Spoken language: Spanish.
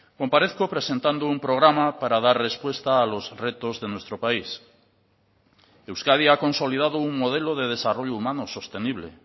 comparezco presentando un programa para dar respuesta a los retos de nuestro país euskadi ha consolidado un modelo de desarrollo humano sostenible